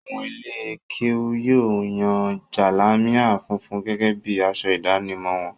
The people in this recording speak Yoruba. Àwọn ilé-kéú yóò yan jalamia funfun gẹ́gẹ́ bí i aṣọ ìdánimọ̀ wọn.